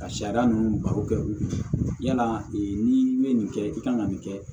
Ka sariya ninnu baro kɛ u yala n'i ye nin kɛ i kan ka nin kɛ